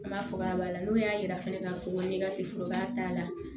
An b'a fɔ k'a b'a la n'o y'a yira fɛnɛ k'a fɔ ko ne ka tiforoba t'a la